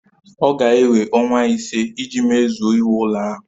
Ọ ga-ewe ọnwa ise iji mezue iwu ụlọ ahụ